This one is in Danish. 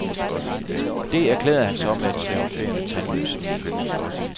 Det erklærer han så med et triumferende, tandløst smil.